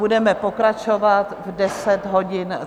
Budeme pokračovat v 10.30 hodin.